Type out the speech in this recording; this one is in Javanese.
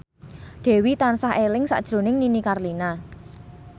Dewi tansah eling sakjroning Nini Carlina